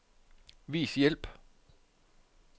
Vis hjælp.